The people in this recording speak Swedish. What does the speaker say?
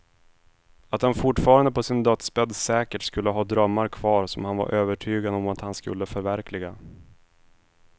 Att han fortfarande på sin dödsbädd säkert skulle ha drömmar kvar som han var övertygad om att han skulle förverkliga.